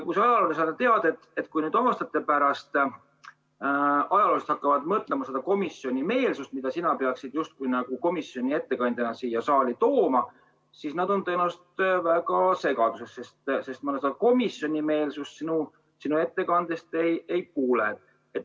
Sa ajaloolasena tead, et kui aastate pärast ajaloolased hakkavad mõtlema selle komisjoni meelsuse üle, mida sina komisjoni ettekandjana peaksid siin saalis justkui kajastama, siis on nad tõenäoliselt väga segaduses, sest ma komisjoni meelsust sinu ettekandest küll ei kuule.